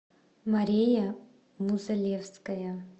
мария музалевская